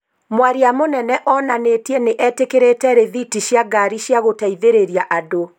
Mwaria mũnene onanĩtie nĩ etĩkĩrĩte rĩthiti cia ngaari cia gũteithĩrĩria andũ